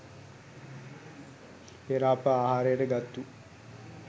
පෙර අප ආහාරයට ගත්තු